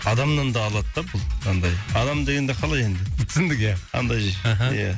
адамнан да алады да бұл андай адам дегенде қалай енді түсіндік ия андай аха ия